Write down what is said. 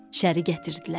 Şəri gətirdilər.